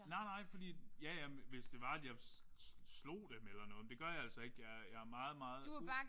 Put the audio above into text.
Nej nej fordi at ja ja men hvis det var at jeg slog dem eller noget men det gør jeg altså ikke jeg jeg er meget meget u